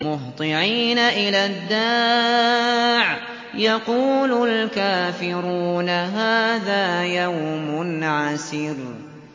مُّهْطِعِينَ إِلَى الدَّاعِ ۖ يَقُولُ الْكَافِرُونَ هَٰذَا يَوْمٌ عَسِرٌ